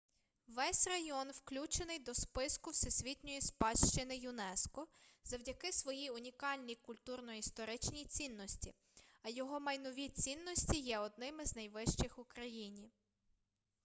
весь район включений до списку всесвітньої спадщини юнеско завдяки своїй унікальній культурно-історичній цінності а його майнові цінності є одними з найвищих у країні